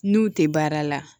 N'u tɛ baara la